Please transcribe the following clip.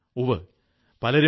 ഉവ്വ് പലരും ഡോ